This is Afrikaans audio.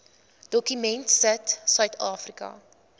dokument sit suidafrika